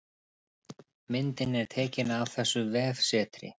Myndin er tekin af þessu vefsetri